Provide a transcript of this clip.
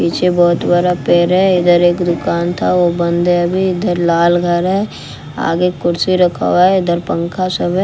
पीछे बहोत बड़ा पेड़ है इधर एक दुकान था वो बंद है अभी इधर लाल घर है आगे कुर्सी रखा हुआ है इधर पंखा सब है।